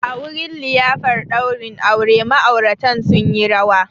A wurin liyafar daurin aure, ma'auratan sun yi rawa